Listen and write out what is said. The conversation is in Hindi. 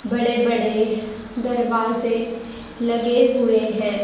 बड़े बड़े दरवाजे लगे हुए हैं।